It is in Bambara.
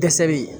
Dɛsɛ bɛ yen